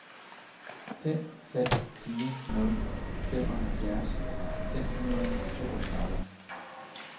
fem fem fire nul femoghalvfjerds fem hundrede og toogtredive